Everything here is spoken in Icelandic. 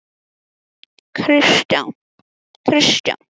Þú ert með aðgang að farþegaskránni.